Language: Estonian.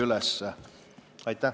Aitäh!